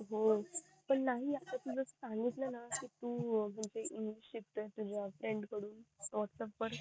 अं पण नाही तू just आता सांगितलं ना तू इंग्लिश शिकतोय तुझ्या फ्रेंड कडून व्हाटसप वर